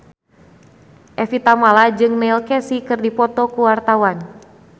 Evie Tamala jeung Neil Casey keur dipoto ku wartawan